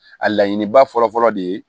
A laɲiniba fɔlɔfɔlɔ de ye